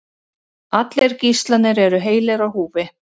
Allir gíslarnir eru heilir á húfi